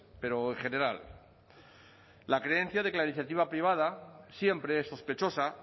pero en general la creencia de que la iniciativa privada siempre es sospechosa